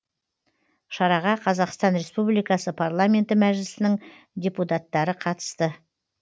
шараға қазақстан республикасы парламенті мәжлісінің депутаттары қатысты